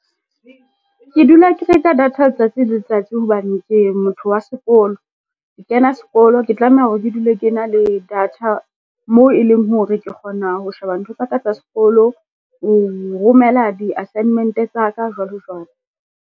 Ke dula ke reka data letsatsi le letsatsi hobane ke motho wa sekolo. Ke kena sekolo ke tlameha hore ke dule ke na le data mo e leng hore ke kgona ho sheba ntho tsa ka tsa sekolo, ho romela di-assignment-e tsa ka jwalo jwalo.